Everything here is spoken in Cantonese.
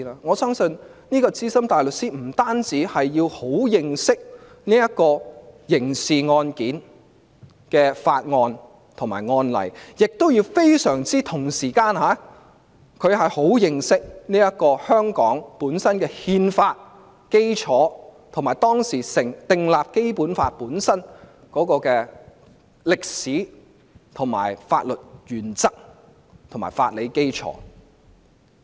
我相信資深大律師不單要熟悉刑事案件的法案及案例，同時亦要非常認識香港本身的憲法基礎，以及當時訂立《基本法》的歷史、法律原則及法理基礎。